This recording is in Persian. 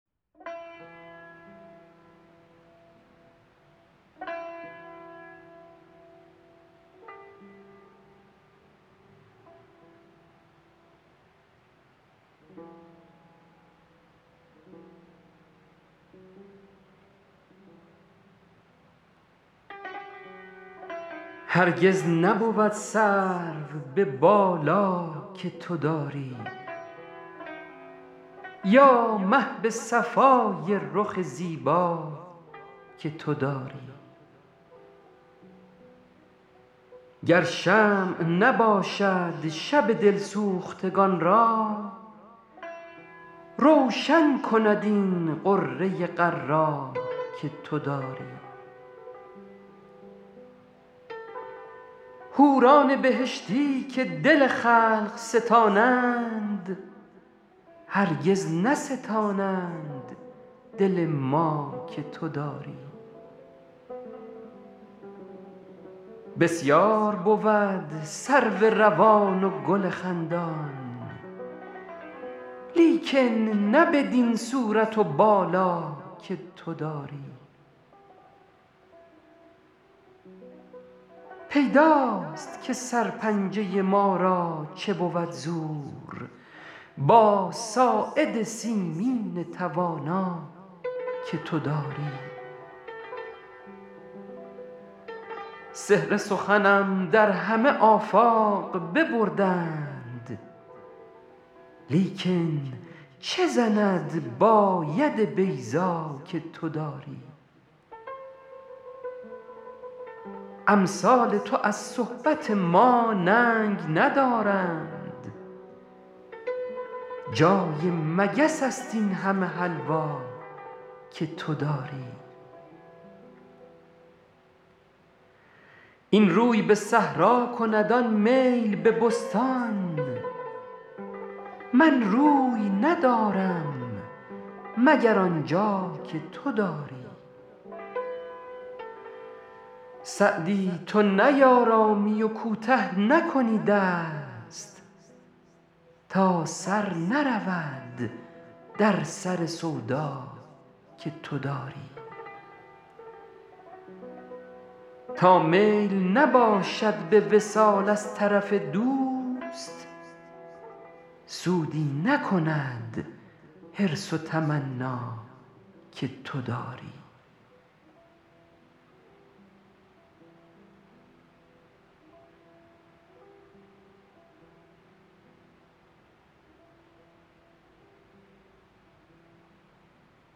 هرگز نبود سرو به بالا که تو داری یا مه به صفای رخ زیبا که تو داری گر شمع نباشد شب دل سوختگان را روشن کند این غره غر‍ ا که تو داری حوران بهشتی که دل خلق ستانند هرگز نستانند دل ما که تو داری بسیار بود سرو روان و گل خندان لیکن نه بدین صورت و بالا که تو داری پیداست که سرپنجه ما را چه بود زور با ساعد سیمین توانا که تو داری سحر سخنم در همه آفاق ببردند لیکن چه زند با ید بیضا که تو داری امثال تو از صحبت ما ننگ ندارند جای مگس است این همه حلوا که تو داری این روی به صحرا کند آن میل به بستان من روی ندارم مگر آن جا که تو داری سعدی تو نیآرامی و کوته نکنی دست تا سر نرود در سر سودا که تو داری تا میل نباشد به وصال از طرف دوست سودی نکند حرص و تمنا که تو داری